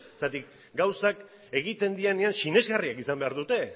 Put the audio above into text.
zergatik gauzak egiten direnean sinesgarriak izan behar dute